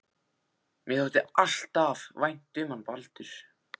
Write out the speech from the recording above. Mér þótti alltaf vænt um hann Baldur.